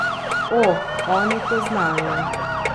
O, oni to znajo.